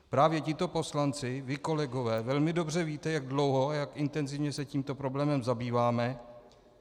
Právě tito poslanci, vy kolegové, velmi dobře víte, jak dlouho a jak intenzivně se tímto problémem zabýváme.